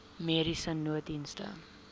mediese nooddienste